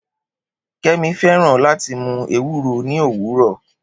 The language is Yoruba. Kemi fẹràn lati mu Ewuro ni owurọ